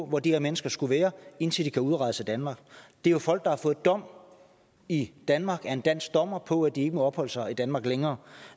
hvor de her mennesker skulle være indtil de kan udrejse af danmark det er jo folk der har fået dom i danmark af en dansk dommer på at de ikke må opholde sig i danmark længere